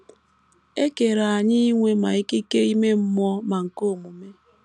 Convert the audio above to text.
E kere anyị inwe ma ikike ime mmụọ ma nke omume.